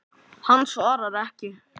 Hann svarar ekki.